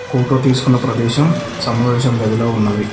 Photo తీసుకున్న ప్రదేశం సమావేశం గదిలా ఉన్నది.